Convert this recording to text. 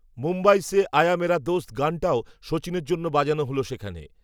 মুম্বই সে, আয়া মেরা দোস্ত গানটাও, সচিনের জন্য বাজানো হল সেখানে